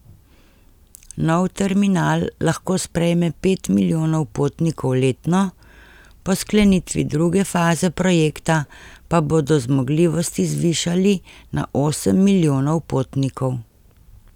Nov terminal lahko sprejme pet milijonov potnikov letno, po sklenitvi druge faze projekta pa bodo zmogljivosti zvišali na osem milijonov potnikov.